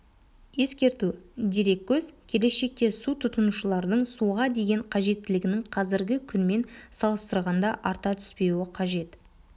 ескерту дереккөз келешекте су тұтынушылардың суға деген қажеттілігінің қазіргі күнмен салыстырғанда арта түспеуі қажет